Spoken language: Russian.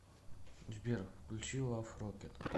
сбер включи лав рокет